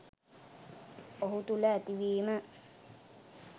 ඔහු තුළ ඇතිවීම